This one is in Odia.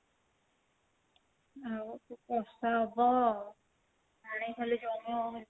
ଆଉ ତ ବର୍ଷା ହବ ଆଉ ପାଣି ହେଲେ ଜର ହବ